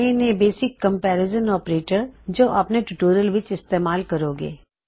ਇਹ ਨੇ basic comparison operators ਜੋ ਆਪਨੇ ਟਿਊਟੋਰਿਯਲਜ਼ ਵਿੱਚ ਇਸਤੇਮਾਲ ਕਰੋਂਗੇ